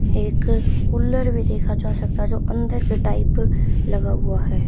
एक कुल्लर भी देखा जा सकता है जो अंदर चटाई प लगा हुआ है।